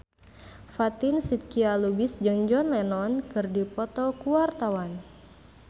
Fatin Shidqia Lubis jeung John Lennon keur dipoto ku wartawan